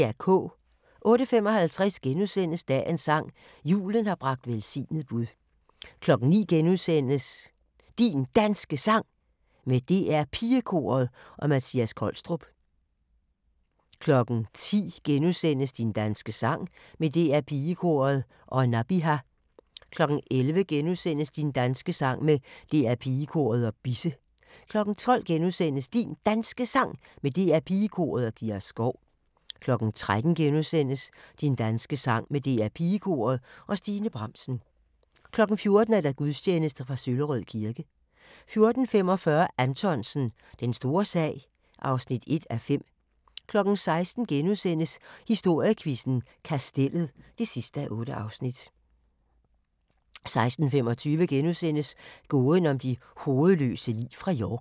08:55: Dagens sang: Julen har bragt velsignet bud * 09:00: Din Danske Sang med DR Pigekoret og Mattias Kolstrup * 10:00: Din danske sang med DR PigeKoret og Nabiha * 11:00: Din danske sang med DR Pigekoret og Bisse * 12:00: Din Danske Sang med DR PigeKoret og Kira Skov * 13:00: Din danske sang med DR PigeKoret og Stine Bramsen * 14:00: Gudstjeneste fra Søllerød kirke 14:45: Anthonsen – Den store sag (1:5) 16:00: Historiequizzen: Kastellet (8:8)* 16:25: Gåden om de hovedløse lig fra York *